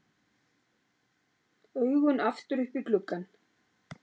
Augun aftur upp í gluggann.